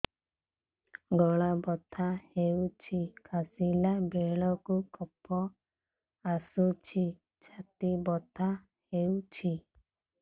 ଗଳା ବଥା ହେଊଛି କାଶିଲା ବେଳକୁ କଫ ଆସୁଛି ଛାତି ବଥା ହେଉଛି